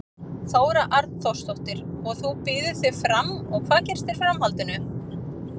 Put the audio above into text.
Þóra Arnórsdóttir: Og þú býður þig fram og hvað gerist í framhaldinu?